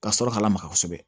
Ka sɔrɔ ka lamaka kosɛbɛ